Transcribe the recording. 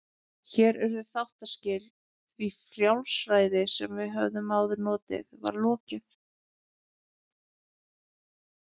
Hér urðu þáttaskil, því frjálsræði sem við höfðum áður notið var lokið.